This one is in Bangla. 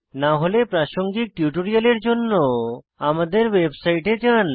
না হলে প্রাসঙ্গিক টিউটোরিয়ালের জন্য আমাদের ওয়েবসাইটে যান